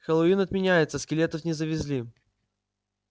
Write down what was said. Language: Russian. хэллоуин отменяется скелетов не завезли